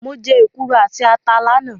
Mo jẹ́ èkuru àti ata lánàá.